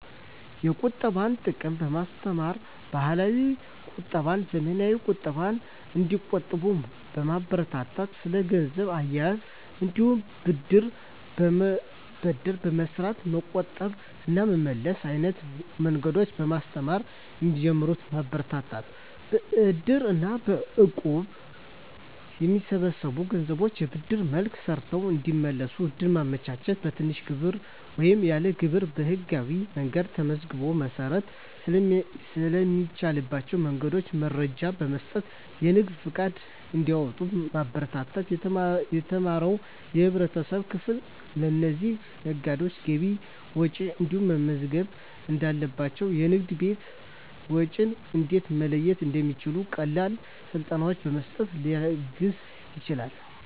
የቁጠባን ጥቅም በማስተማር፣ ባህላዊ ቁጠባና ዘመናዊ ቁጠባን እንዲቆጥቡ ማበረታታት። ስለ ገንዘብ አያያዝ እንዲሁም ብድር በመበደር በመስራት መቆጠብ እና መመለስ አይነት መንገዶችን በማስተማር እንዲጀምሩት ማበረታታት። በእድር እና በእቁብ የሚሰበሰቡ ገንዘቦችን በብድር መልክ ሰርተው እንዲመልሱ እድል ማመቻቸት። በትንሽ ግብር ወይም ያለ ግብር በህጋዊ መንገድ ተመዝግቦ መስራት ስለሚቻልባቸው መንገዶች መረጃ በመስጠት የንግድ ፈቃድ እንዲያወጡ ማበረታታት። የተማረው የህብረተሰብ ክፍል ለእነዚህ ነጋዴዎች ገቢና ወጪያቸውን እንዴት መመዝገብ እንዳለባቸው፣ የንግድና የቤት ወጪን እንዴት መለየት እንደሚችሉ ቀላል ስልጠናዎችን በመስጠት ሊያግዝ ይችላል።